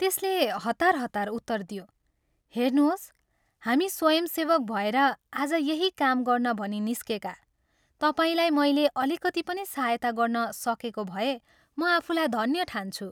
त्यसले हतार हतार उत्तर दियो, " हेर्नोस्, हामी स्वयंसेवक भएर आज यहीं काम गर्न भनी निस्केका तपाईलाई मैले अलिकति पनि सहायता गर्न सकेको भए म आफूलाई धन्य ठान्छु।